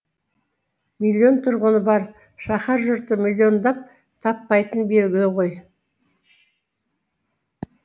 миллион тұрғыны бар шаһар жұрты миллиондап таппайтыны белгілі ғой